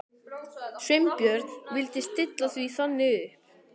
Sveinbjörn vildi stilla því þannig upp.